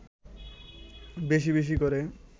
বেশি বেশি করে